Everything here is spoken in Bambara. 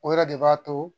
O yɛrɛ de b'a to